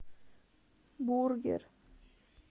бургер